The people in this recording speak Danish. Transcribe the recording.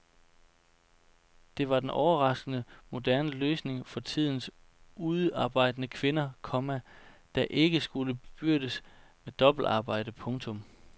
Det var den overraskende moderne løsning for tidens udearbejdende kvinde, komma der ikke skulle bebyrdes med dobbeltarbejde. punktum